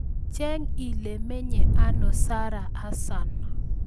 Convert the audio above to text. Cheng' ile menye ano Sarah Hassan